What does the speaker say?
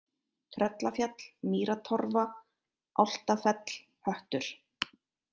Tröllafjall, Mýratorfa, Álftafell, Höttur